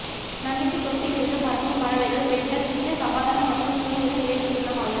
நம்பிக்கைத் தொப்பி இருந்து பறக்கும் பறவைகள் பெண்கள் நித்திய சமாதானம் மற்றும் சுதந்திரம் இயல்பு சின்னமாக